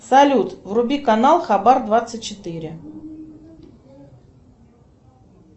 салют вруби канал хабар двадцать четыре